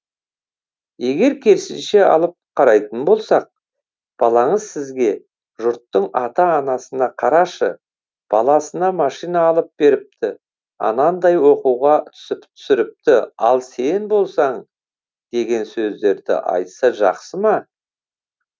егер керісінше алып қарайтын болсақ балаңыз сізге жұрттың ата анасына қарашы баласына машина алып беріпті анандай оқуға түсіріпті ал сен болсаң деген сөздерді айтса жақсы ма